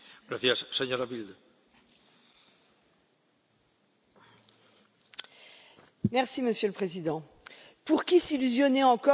Monsieur le Président, pour qui s'illusionnait encore sur la véritable nature de l'Union européenne, ce règlement financier suffira à en déchirer le voile.